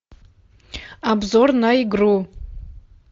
обзор на игру